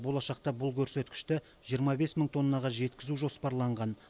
болашақта бұл көрсеткішті жиырма бес мың тоннаға жеткізу жоспарланған